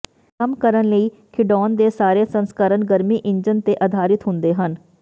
ਕੰਮ ਕਰਨ ਲਈ ਖਿਡੌਣ ਦੇ ਸਾਰੇ ਸੰਸਕਰਣ ਗਰਮੀ ਇੰਜਨ ਤੇ ਆਧਾਰਿਤ ਹੁੰਦੇ ਹਨ